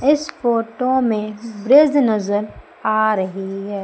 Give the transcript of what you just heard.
इस फोटो में ब्रिज नजर आ रही है।